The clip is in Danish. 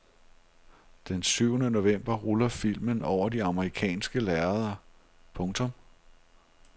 Den syvende november ruller filmen over de amerikanske lærreder. punktum